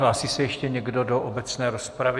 Hlásí se ještě někdo do obecné rozpravy?